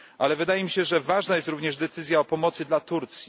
Ale wydaje mi się, że ważna jest również decyzja o pomocy dla Turcji.